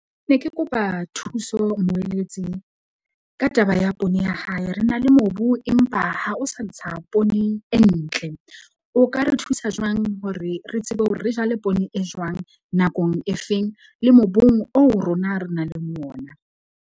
Ne ke kopa thuso moeletsi, ka taba ya poone ya hae. Re na le mobu, empa ha o sa ntsha poone e ntle, o ka re thusa jwang hore re tsebe hore re jale poone e jwang, nakong e feng, le mobung oo rona re nang le ona.